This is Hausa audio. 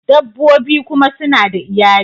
Dabbobi kuma suna da iyali